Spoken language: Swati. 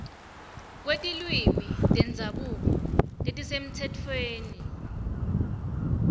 kwetilwimi tendzabuko letisemtsetfweni